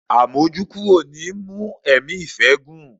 Àmójúkúrò ni í mú ẹ̀mí ìfẹ́ gùn.